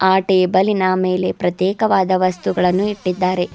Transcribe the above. ಆ ಟೇಬಲಿ ನ ಮೇಲೆ ಪ್ರತ್ಯೇಕವಾದ ವಸ್ತುಗಳನ್ನು ಇಟ್ಟಿದ್ದಾರೆ.